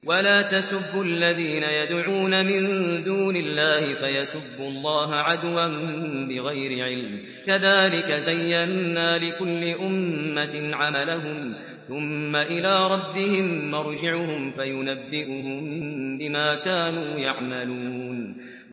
وَلَا تَسُبُّوا الَّذِينَ يَدْعُونَ مِن دُونِ اللَّهِ فَيَسُبُّوا اللَّهَ عَدْوًا بِغَيْرِ عِلْمٍ ۗ كَذَٰلِكَ زَيَّنَّا لِكُلِّ أُمَّةٍ عَمَلَهُمْ ثُمَّ إِلَىٰ رَبِّهِم مَّرْجِعُهُمْ فَيُنَبِّئُهُم بِمَا كَانُوا يَعْمَلُونَ